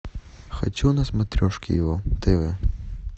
хочу на смотрешке его тв